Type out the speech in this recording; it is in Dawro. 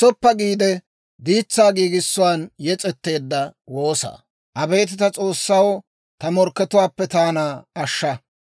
Iita ootsiyaawanttuppe taana ashsha akka; suutsaa gussiyaa asatuwaappe taana ashsha.